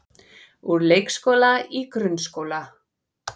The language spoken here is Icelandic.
Úr leikskóla í grunnskóla